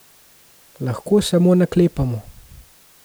Lahko samo naklepamo.